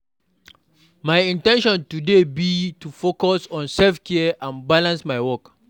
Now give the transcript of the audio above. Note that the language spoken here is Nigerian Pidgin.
My in ten tion today be to focus on self-care and balance my work.